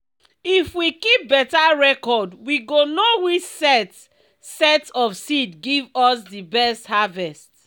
if we keep beta reocrd we go know which set set of seed give us di best harvest.